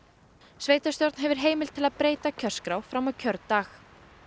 sveitarstjórn hefur heimild til að breyta kjörskrá fram á kjördag